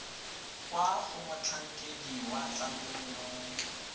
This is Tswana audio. kwa go motlhankedi wa tlamelo